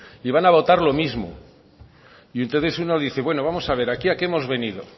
y van a votar lo mismo y entonces uno dice bueno vamos a ver aquí a qué hemos venido